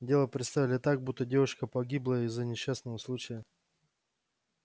дело представили так будто девушка погибла из-за несчастного случая